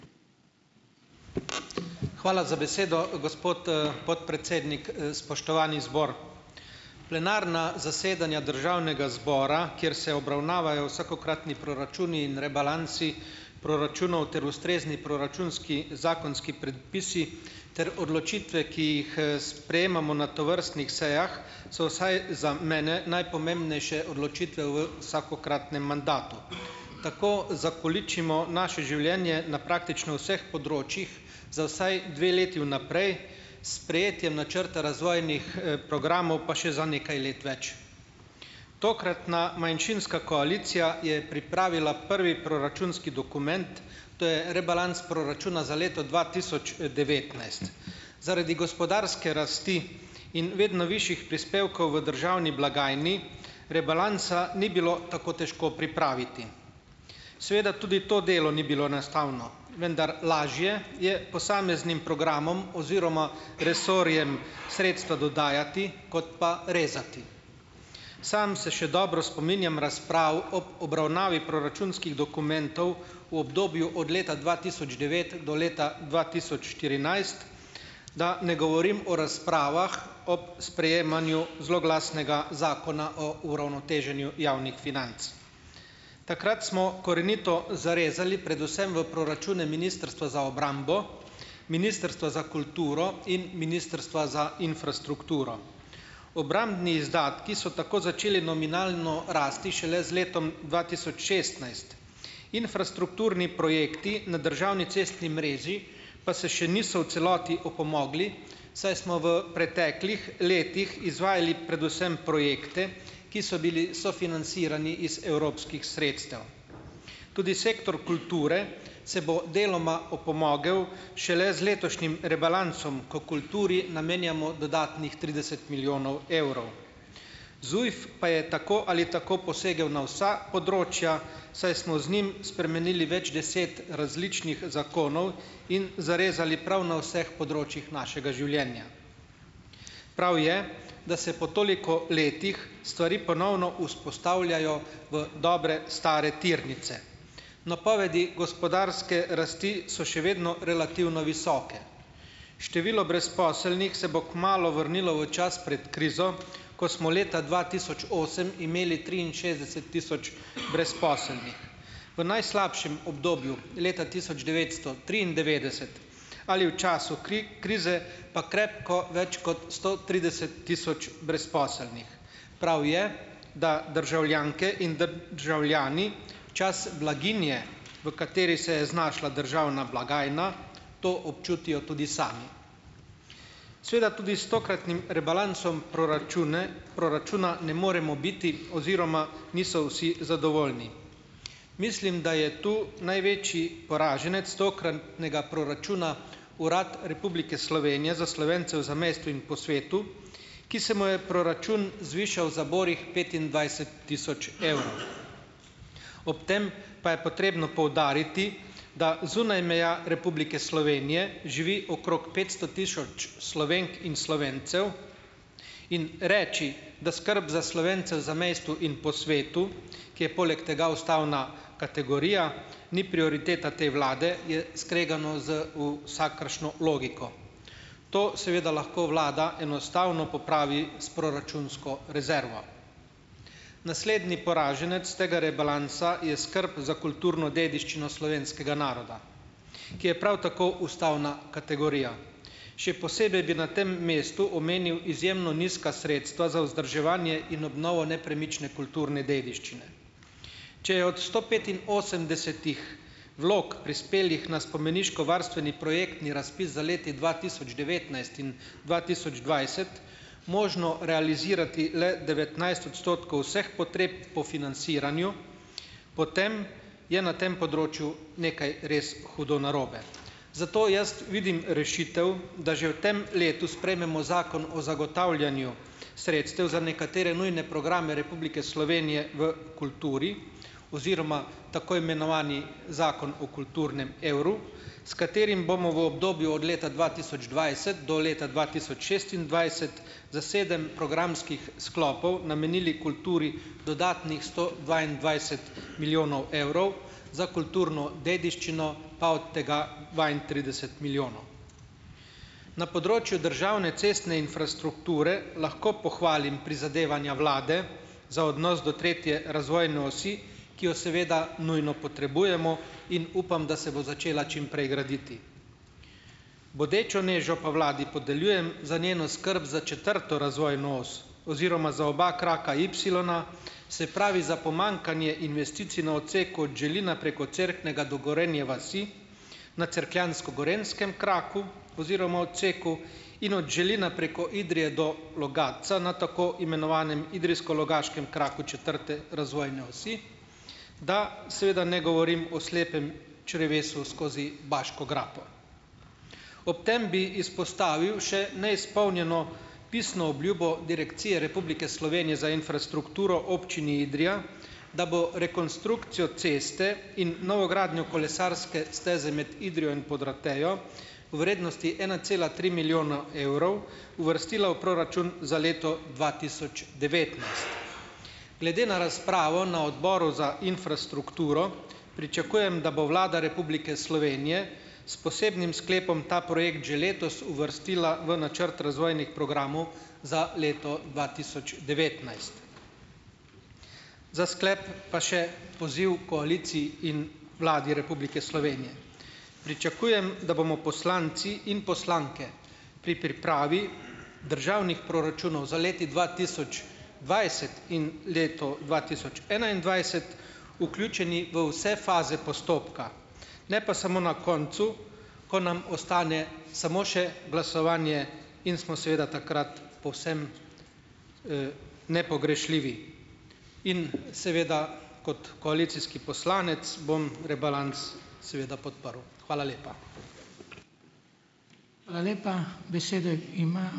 Hvala za besedo, gospod, podpredsednik, spoštovani zbor! Plenarna zasedanja državnega zbora, kjer se obravnavajo vsakokratni proračuni in rebalansi proračunov ter ustrezni proračunski zakonski predpisi ter odločitve, ki jih, sprejemamo na tovrstnih sejah, so vsaj za mene najpomembnejše odločitve v vsakokratnem mandatu. Tako zakoličimo naše življenje na praktično vseh področjih za vsaj dve leti vnaprej s sprejetjem načrta razvojnih, programov pa še za nekaj let več. Tokratna manjšinska koalicija je pripravila prvi proračunski dokument, to je rebalans proračuna za leto dva tisoč devetnajst. Zaradi gospodarske rasti in vedno višjih prispevkov v državni blagajni, rebalansa ni bilo tako težko pripraviti. Seveda tudi to delo ni bilo vendar lažje je posameznim programom oziroma resorjem sredstva dodajati kot pa rezati. Sam se še dobro spominjam razprav ob obravnavi proračunskih dokumentov v obdobju od leta dva tisoč devet do leta dva tisoč štirinajst, da ne govorim o razpravah ob sprejemanju zloglasnega Zakona o uravnoteženju javnih financ. Takrat smo korenito zarezali predvsem v proračune Ministrstva za obrambo, Ministrstva za kulturo in Ministrstva za infrastrukturo. Obrambni izdatki so tako začeli nominalno rasti šele z letom dva tisoč šestnajst. Infrastrukturni projekti na državni cestni mreži pa se še niso v celoti opomogli, saj smo v preteklih letih izvajali predvsem projekte, ki so bili sofinancirani iz evropskih sredstev. Tudi sektor kulture se bo deloma opomogel šele z letošnjim rebalansom, ko kulturi namenjamo dodatnih trideset milijonov evrov. ZUJF pa je tako ali tako posegel na vsa področja, saj smo z njim spremenili več deset različnih zakonov in zarezali prav na vseh področjih našega življenja. Prav je, da se po toliko letih stvari ponovno vzpostavljajo v dobre stare tirnice. Napovedi gospodarske rasti so še vedno relativno visoke. Število brezposelnih se bo kmalu vrnilo v čas pred krizo, ko smo leta dva tisoč osem imeli triinšestdeset tisoč brezposelnih. V najslabšem obdobju, leta tisoč devetsto triindevetdeset ali v času krize, pa krepko več kot sto trideset tisoč brezposelnih. Prav je, da državljanke in državljani čas blaginje, v kateri se je znašla državna blagajna, to občutijo tudi sami. Seveda tudi s tokratnim rebalansom proračune proračuna ne moremo biti oziroma niso vsi zadovoljni. Mislim, da je to največji poraženec tokratnega proračuna, Urad Republike Slovenije za Slovence v zamejstvu in po svetu, ki se mu je proračun zvišal za borih petindvajset tisoč evrov. Ob tem pa je potrebno poudariti, da zunaj meja Republike Slovenije živi okrog petsto tisoč Slovenk in Slovencev in reči, da skrb za Slovence v zamejstvu in po svetu, ki je poleg tega ustavna kategorija, ni prioriteta te vlade, je skregano z vsakršno logiko. To seveda lahko vlada enostavno popravi s proračunsko rezervo. Naslednji poraženec tega rebalansa je skrb za kulturno dediščino slovenskega naroda, ki je prav tako ustavna kategorija. Še posebej bi na tem mestu omenil izjemno nizka sredstva za vzdrževanje in obnovo nepremične kulturne dediščine. Če je od sto petinosemdesetih vlog, prispelih na spomeniško varstveni projektni razpis za leti dva tisoč devetnajst in dva tisoč dvajset, možno realizirati le devetnajst odstotkov vseh potreb po financiranju, potem je na tem področju nekaj res hudo narobe. Zato jaz vidim rešitev, da že v tem letu sprejmemo Zakon o zagotavljanju sredstev za nekatere nujne programe Republike Slovenije v kulturi oziroma tako imenovani Zakon o kulturnem evru, s katerim bomo v obdobju od leta dva tisoč dvajset do leta dva tisoč šestindvajset za sedem programskih sklopov namenili kulturi dodatnih sto dvaindvajset milijonov evrov za kulturno dediščino pa od tega dvaintrideset milijonov. Na področju državne cestne infrastrukture lahko pohvalim prizadevanja vlade za odnos do tretje razvojne osi, ki jo seveda nujno potrebujemo in upam, da se bo začela čim prej graditi. Bodečo nežo pa vladi podeljujem za njeno skrb za četrto razvojno os oziroma za oba kraka ipsilona, se pravi, za pomanjkanje investicij na odseku od Želina preko Cerknega do Gorenje vasi, na cerkljansko-gorenjskem kraku oziroma odseku in od Želina preko Idrije do Logatca, na tako imenovanem idrijsko-logaškem kraku četrte razvojne osi, da seveda ne govorim o slepem črevesu skozi Baško grapo. Ob tem bi izpostavil še neizpolnjeno pisno obljubo Direkcije Republike Slovenije za infrastrukturo Občini Idrija, da bo rekonstrukcijo ceste in novogradnjo kolesarske steze med Idrijo in Podrotejo v vrednosti ena cela tri milijona evrov uvrstila v proračun za leto dva tisoč devetnajst. Glede na razpravo na odboru za infrastrukturo pričakujem, da bo Vlada Republike Slovenije s posebnim sklepom ta projekt že letos uvrstila v načrt razvojnih programov za leto dva tisoč devetnajst. Za sklep pa še poziv koaliciji in Vladi Republike Slovenije. Pričakujem, da bomo poslanci in poslanke pri pripravi državnih proračunov za leti dva tisoč dvajset in leto dva tisoč enaindvajset vključeni v vse faze postopka, ne pa samo na koncu, ko nam ostane samo še glasovanje in smo seveda takrat povsem, nepogrešljivi. In seveda kot koalicijski poslanec bom rebalans seveda podprl. Hvala lepa. Hvala lepa. Besedo ima ...